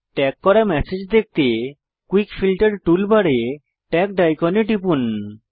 tag করা message দেখতে quick filter টুলবারে ট্যাগড আইকনে টিপুন